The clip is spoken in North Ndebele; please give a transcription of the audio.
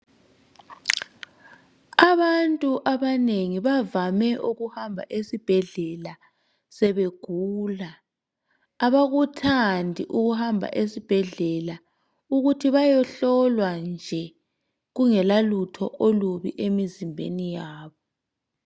Abantu abanengi bavame. ukuhamba esibhedlela sebegula . Abakuthandi ukuhamba esibhedlela ukuthi bayehlolwa nje kungela lutho olubi emzimbeni yabo .